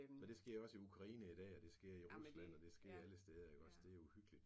Og det sker også i Ukraine i dag og det sker i Rusland og det sker alle steder iggås. Det er uhyggeligt